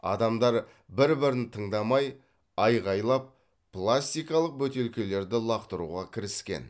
адамдар бір бірін тыңдамай айқайлап пластикалық бөтелкелерді лақтыруға кіріскен